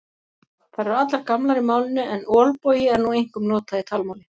Þær eru allar gamlar í málinu en olbogi er nú einkum notað í talmáli.